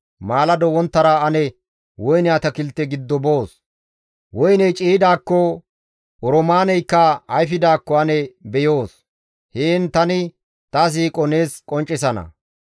Maalado wonttara ane woyne atakilte giddo boos; woyney ciiyidaakko, oroomaaneykka ayfidaakko ane beyoos; heen tani ta siiqo nees qonccisana.